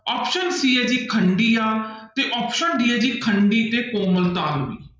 Option c ਹੈ ਜੀ ਖੰਡੀਆਂ ਤੇ option d ਹੈ ਜੀ ਖੰਡੀ ਤੇ ਕੋਮਲ ਤਾਲਵੀ।